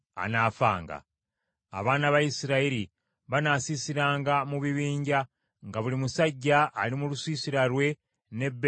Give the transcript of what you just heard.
Abaana ba Isirayiri banaasiisiranga mu bibinja, nga buli musajja ali mu lusiisira lwe n’ebendera ye ku bubwe.